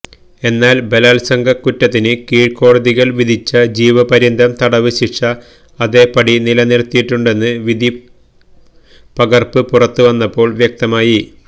എന്നാല് ബലാത്സംഗക്കുറ്റത്തിന് കീഴ്ക്കോടതികള് വിധിച്ച ജീവപര്യന്തം തടവ് ശിക്ഷ അതേ പടി നിലനിര്ത്തിയിട്ടുണ്ടെന്ന് വിധിപ്പകര്പ്പ് പുറത്ത് വന്നപ്പോള് വ്യക്തമായി